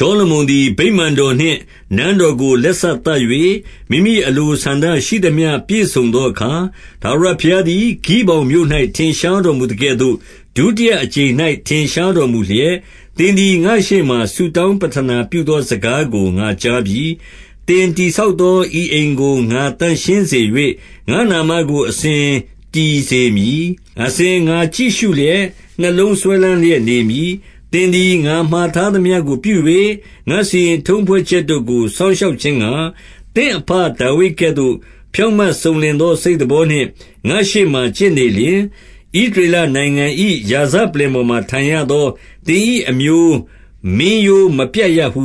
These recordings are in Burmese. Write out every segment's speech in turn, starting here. ှောလမုန်သည် ဗိမာန်တော်နှင့် နန်းတော်ကို လက်စသတ်၍၊ မိမိအလိုဆန္ဒရှိသမျှ ပြည့်စုံသောအခါ၊ 2 ထာဝရဘုရားသည် ဂိဗောင်မြို့၌ ထင်ရှားတော် မူသကဲ့သို့၊ ဒုတိယအကြိမ်၌ ထင်ရှားတော်မူလျက်၊ 3 သင်သည် ငါ့ရှေ့မှာဆုတောင်းပဌနာပြုသော စကားကို ငါကြားပြီ။ သင်တည်ဆောက်သော ဤအိမ်ကို သန့်ရှင်းစေ၍၊ ငါ့နာမကို အစဉ်တည်စေ မည်။ အစဉ်ငါကြည့်ရှုလျက် နှလုံးစွဲလမ်းလျက် နေမည်။ 4 သင်သည် ငါမှာထားသမျှကိုပြု၍၊ ငါစီရင်ထုံးဖွဲ့ချက်တို့ကို စောင့်ရှောက်ခြင်းငှါ၊ သင့်အဘဒါဝိဒ်ကဲ့သို့ ဖြောင့်မတ်စုံလင်သော စိတ်သဘောနှင့် ငါ့ရှေ့မှာ ကျင့်နေလျှင်၊ 5 ဣသရေလနိုင်ငံ၏ ရာဇပလ္လင်ပေါ်မှာ ထိုင်ရသော သင်၏အမျိုးမင်းရိုးမပြတ်ရဟု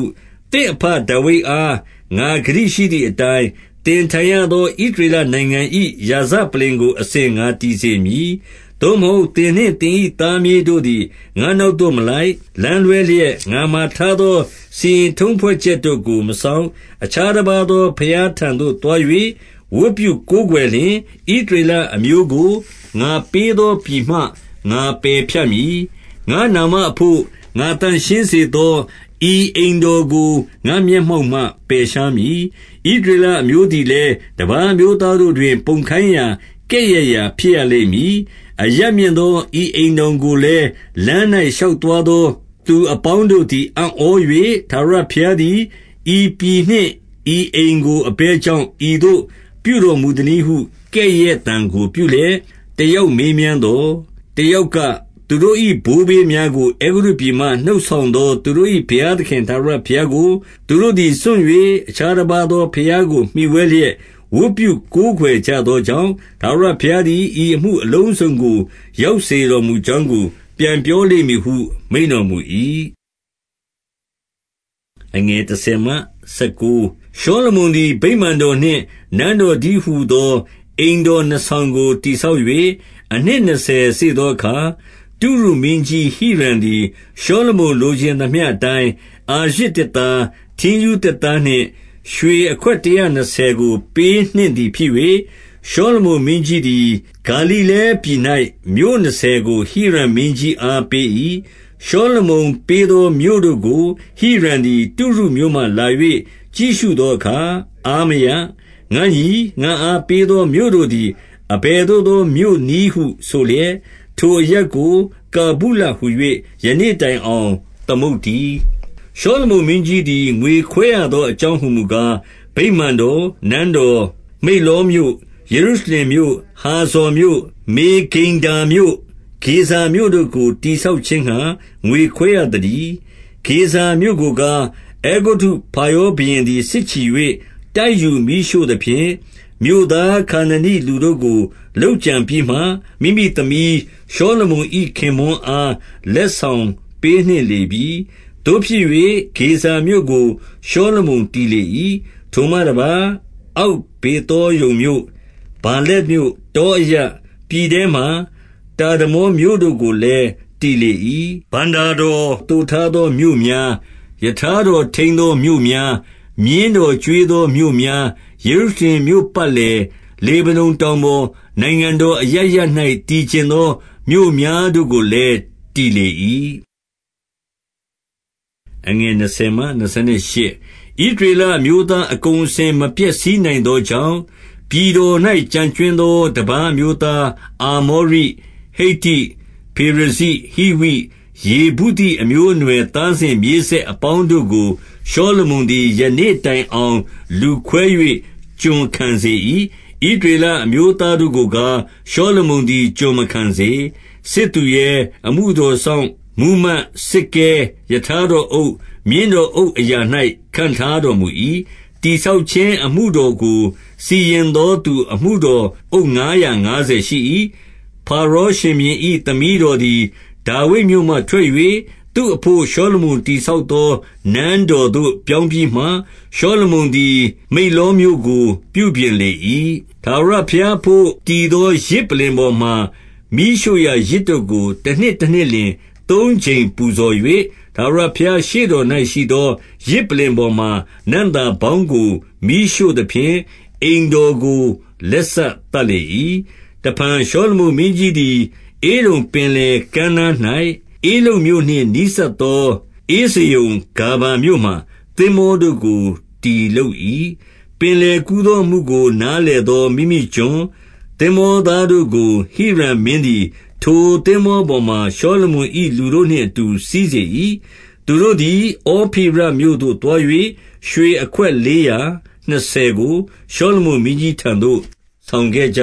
သင့်အဘဒါဝိဒ် အား ငါဂတိရှိသည်အတိုင်း၊ သင်ထိုင်ရသော ဣသရေလ နိုင်ငံ၏ရာဇပလ္လင်ကို အစဉ်ငါတည်စေမည်။ 6 သို့မဟုတ်သင်နှင့် သင်၏သားမြေးတို့သည် ငါ့နောက်သို့မလိုက်၊ လမ်းလွှဲလျက် ငါမှာထားသော စီရင် ထုံးဖွဲ့ချက်တို့ကို မစောင့်၊ အခြားတပါးသော ဘုရားထံသို့ သွား၍ ဝတ်ပြုကိုးကွယ်လျှင်၊ 7 ဣသရေလအမျိုးကို ငါပေးသောပြည်မှ ငါပယ်ဖြတ်မည်။ ငါ့နာမဘို့ ငါသန့်ရှင်းစေသော ဤအိမ်တော်ကို ငါ့မျက်မှောက်မှ ပယ်ရှားမည်။ ဣသရေလအမျိုးသည် လည်း တပါးအမျိုးသားတို့တွင် ပုံခိုင်းရာ ကဲ့ရဲ့ရာဖြစ်ရ လိမ့်မည်။ 8 အရပ်မြင့်သော ဤအိမ်တော်ကိုလည်း လမ်း၌ ရှောက်သွားသော သူအပေါင်းတို့သည် အံ့ဩ၍၊ ထာဝရ ဘုရားသည် ဤပြည်နှင့်ဤအိမ်ကို အဘယ်ကြောင့် ဤသို့ပြုတော်မူသနည်းဟု ကဲ့ရဲ့သံကိုပြုလျက် တယောက် မေးမြန်းသော်၊ 9 တယောက်က၊ သူတို့၏ ဘိုးဘေးများကို အဲဂုတ္တုပြည်မှ နှုတ်ဆောင်သော သူတို့၏ ဘုရားသခင် ထာဝရ ဘုရားကို သူတို့သည်စွန့်၍ အခြားတပါးသောဘုရားကို မှီဝဲလျက် ဝတ်ပြုကိုးကွယ်ကြသောကြောင့်၊ ထာဝရဘုရား သည် ဤအမှုအလုံးစုံကို ရောက်စေတော်မူကြောင်းကို ပြန်ပြောလိမ့်မည်ဟု မိန့်တော်မူ၏။ 10 ရှောလမုန်သည် ဗိမာန်တော်နှင့် နန်းတော်တည်းဟူသော အိမ်တော်နှစ်ဆောင်ကို တည်ဆောက်၍ အနှစ်နှစ်ဆယ်စေ့သောအခါ၊ 11 တုရုမင်းကြီးဟိရံသည် ရှောလမုန်လိုချင်သမျှအတိုင်း အာရဇ်သစ်သား၊ ထင်းရူးသစ်သားနှင့် ရွှေ အခွက်တရာနှစ်ဆယ်ကို ပေးနှင့်သည် ဖြစ်၍၊ ရှောလမုန်မင်းကြီးသည် ဂါလိလဲပြည်၌ မြို့နှစ်ဆယ်ကို ဟိရံမင်းကြီး အားပေး၏။ 12 ရှောလမုန်ပေးသော မြို့တို့ကို ဟိရံသည် တုရုမြို့ မှလာ၍ ကြည့်ရှုသောအခါ အားမရ။ 13 ငါ့ညီ၊ ငါ့အားပေးသော မြို့တို့သည် အဘယ်သို့သောမြို့နည်းဟု ဆိုလျက်၊ 14 ထိုအရပ်ကို တာဗုလဟူ၍ ယနေ့တိုင်အောင် သမုတ်သတည်း။ 15 ရှောလမုန်မင်းကြီးသည် ငွေခွဲရသောအကြောင်းဟူမူကား၊ ဗိမာန်တော်၊ နန်းတော်၊ မိလ္လောမြို့၊ ယေရုရှလင်မြို့ရိုး၊ ဟာဇော်မြို့၊ မေဂိဒ္ဒေါမြို့ ဂေဇာမြို့တို့ကို တည်ဆောက်ခြင်းငှါ ငွေခွဲရသတည်း။ 16 ဂေဇာမြို့ကိုကား၊ အဲဂုတ္တုဖာရောဘုရင်သည် စစ်ချီ၍ တိုက်ယူ မီးရှို့သဖြင့်၊ မြို့သားခါနာနိလူတို့ကို လုပ်ကြံပြီးမှ၊ မိမိသမီး၊ ရှောလမုန်၏ ခင်ပွန်းအား လက်ဆောင်ပေးနှင့်လေပြီ။ 17 သို့ဖြစ်၍ ဂေဇာမြို့ကို ရှောလမုန်တည်လေ၏။ ထိုမှတပါး၊ အောက်ဗေသောရုန်မြို့၊ 18 ဗာလက်မြို့၊ တောအရပ်၊ ပြည်ထဲမှာ တာဒမော်မြို့တို့ကိုလည်း တည်လေ၏။ 19 ဘဏ္ဍာတော် သိုထားသောမြို့များ၊ ရထားတော်ထိန်းသောမြို့များ၊ မြင်းတော်ကျွေးသောမြို့များ၊ ယေရုရှလင်မြို့ပတ်လည်၊ လေဗနုန်တောင်ပေါ်၊ နိုင်ငံတော်အရပ်ရပ်၌ တည်ချင်သောမြို့များတို့ကိုလည်း တည်လေ၏။ 20 ဣသရေလအမျိုးသား အကုန်အစင် မဖျက်ဆီးနိုင်သောကြောင့်၊ 21 ပြည်တော်၌ကျန်ကြွင်းသော တပါးအမျိုးသား၊ အာမောရိ၊ ဟိတ္တိ၊ ဖေရဇိ၊ ဟိဝိ၊ ယေဗုသိအမျိုးအနွယ် သားစဉ်မြေးဆက်အပေါင်းတို့ကို ရှောလမုန်သည် ယနေ့တိုင်အောင် လူခွဲ၍ ကျွန်ခံစေ၏။ 22 ဣသရေလအမျိုးသားတို့ကိုကား၊ ရှောလမုန်သည် ကျွန်မခံစေ။ စစ်သူရဲ၊ အမှုတော်စောင့်၊ မှူးမတ်၊ စစ်ကဲ၊ ရထားတော်အုပ်၊ မြင်းတော်အုပ်အရာ၌ ခန့်ထား တော်မူ၏။ 23 တည်ဆောက်ခြင်းအမှုတော်ကို စီရင်သောသူ အမှုတော်အုပ် ငါးရာငါးဆယ်ရှိ၏။ 24 ဖာရောရှင်ဘုရင်၏ သမီးတော်သည် ဒါဝိဒ်မြို့မှ ထွက်၍၊ သူ့အဘို့ ရှောလမုန်တည်ဆောက်သော နန်း တော်သို့ ပြောင်းပြီးမှ၊ ရှောလမုန်သည် မိလ္လောမြို့ကို ပြုပြင်လေ၏။ 25 ထာဝရဘုရားရှေ့တော်၌ရှိသော ယဇ်ပလ္လင်ပေါ်မှာ နံ့သာပေါင်းကို မီးရှို့သဖြင့် အိမ်တော်ကို လက်စသတ်လေ၏။ 26 တဖန်ရှောလမုန် မင်းကြီးသည် ဧဒုံပြည်တွင်၊ ဧဒုံပင်လယ်ကမ်းနား၌၊ ဧလုတ်မြို့နှင့် နီးစပ်သော ဧဇယုန်ဂါဗာမြို့မှာ သင်္ဘောတို့ကို တည်လုပ်၏။ 27 ပင်လယ်ကူးသော အမှုကိုနားလည်သော မိမိကျွန်၊ သင်္ဘောသားတို့ကို ဟိရံမင်းသည် ထိုသင်္ဘော ပေါ်မှာ ရှောလမုန်၏ လူတို့နှင့်အတူ စီးစေ၏။ 28 သူတို့သည် ဩဖိရမြို့သို့သွား၍ ရွှေအခွက်လေးရာနှစ်ဆယ်ကို ရှောလမုန်မင်းကြီးထံသို့ ဆောင်ခဲ့ ကြ